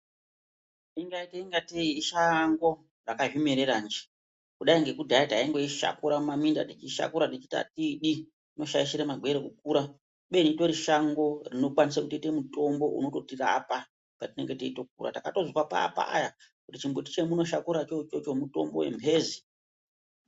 Ingaita ingatei ishango rakazvimerera nje, kudai ngekudhaya taingorishakura mumaminda teishakura techiti atiidi inoshaishire magwere kukura kubeni ritori shango rinokwanisa kuite mitombo unototirapa patinenge teitokura, takatozwa paapaya kuti chimbuti cheminoshakura choichocho mutombo wemphezi.